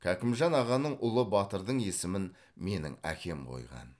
кәкімжан ағаның ұлы батырдың есімін менің әкем қойған